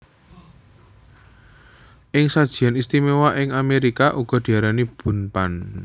Ing sajian istimewa ing Amerika uga diarani Bundt Pan